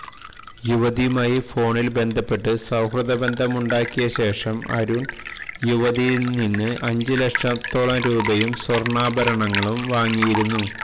യുവതിയുമായി ഫോണില് ബന്ധപ്പെട്ട് സൌഹൃദ ബന്ധം ഉണ്ടാക്കിയ ശേഷം അരുണ് യുവതിയില് നിന്ന് അഞ്ച് ലക്ഷത്തോളം രൂപയും സ്വര്ണ്ണാഭരണങ്ങളും വാങ്ങിയിരുന്നു